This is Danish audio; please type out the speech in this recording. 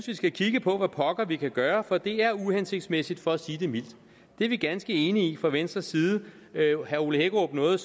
vi skal kigge på hvad pokker vi kan gøre for det er uhensigtsmæssigt for at sige det mildt det er vi ganske enige i fra venstres side herre ole hækkerup nåede